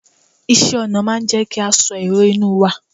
iṣẹ ọnà n jé kí a so èrò inú wa